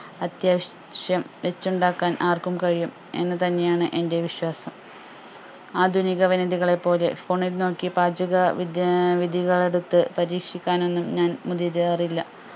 അത്യാവശ്യം വെച്ചുണ്ടാക്കാൻ ആർക്കും കഴിയും എന്ന് തന്നെയാണ് എന്റെ വിശ്വാസം ആധുനിക വനിതകളെ പോലെ phone ൽ നോക്കി പാചക വിദ്യ ആഹ് വിദ്യകളെടുത്ത് പരീക്ഷിക്കാനൊന്നും ഞാൻ മുതിരാറില്ല